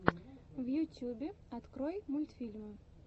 в ютюбе открой мультфильмы